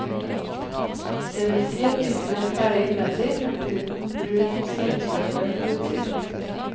Det vil si at biffen er ferdig innvendig, men uten brun stekeskorpe på utsiden.